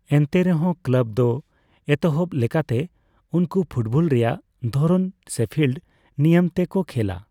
ᱮᱱᱛᱮᱨᱮᱦᱚᱸ, ᱠᱞᱟᱵᱽ ᱫᱚ ᱮᱛᱚᱦᱚᱵ ᱞᱮᱠᱟᱛᱮ ᱩᱱᱠᱩ ᱯᱷᱩᱴᱵᱚᱞ ᱨᱮᱭᱟᱜ ᱫᱷᱚᱨᱚᱱ ᱥᱮᱯᱷᱤᱞᱰ ᱱᱤᱭᱟᱹᱢ ᱛᱮ ᱠᱚ ᱠᱷᱮᱞᱟ ᱾